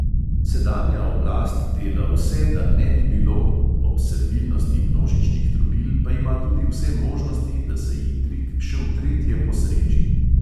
Sedanja oblast dela vse, da ne bi bilo, ob servilnosti množičnih trobil pa ima tudi vse možnosti, da se ji trik še v tretje posreči.